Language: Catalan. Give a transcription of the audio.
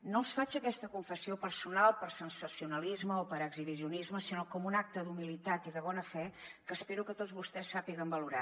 no els faig aques·ta confessió personal per sensacionalisme o per exhibicionisme sinó com un acte d’humilitat i de bona fe que espero que tots vostès sàpiguen valorar